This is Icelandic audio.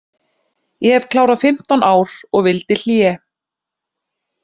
Ég hef klárað fimmtán ár og vildi hlé.